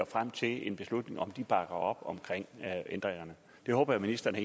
frem til en beslutning om hvorvidt de bakker op om ændringerne det håber jeg ministeren